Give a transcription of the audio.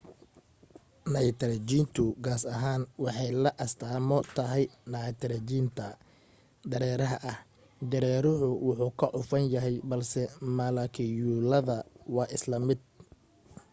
naytarjiintu gaas ahaan waxay la astaamo tahay naytarajiinta dareeraha ah dareeruhu wuu ka cufan yahay balse malakiyuulada waa isla mid